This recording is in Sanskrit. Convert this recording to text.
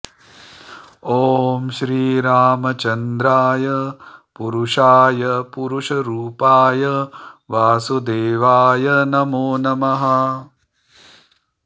ॐ श्री रामचन्द्राय पुरुषाय पुरुषरूपाय वासुदेवाय नमो नमः